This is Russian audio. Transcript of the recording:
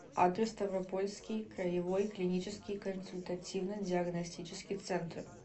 адрес ставропольский краевой клинический консультативно диагностический центр